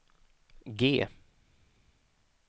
G